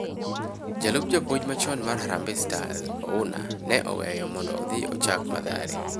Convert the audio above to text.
jalup japuonj machon mar Harambee stars Ouna ne oweyo mondo odhi ochak Mathare